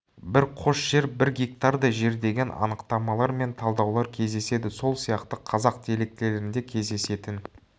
бір қос жер бір гектардай жер деген анықтамалар мен талдаулар кездеседі сол сияқты қазақ диалектілерінде кезедесетін